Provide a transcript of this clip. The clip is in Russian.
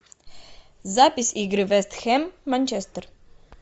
запись игры вест хэм манчестер